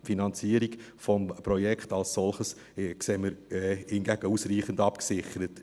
Die Finanzierung des Projekts als solches sehen wir hingegen ausreichend abgesichert.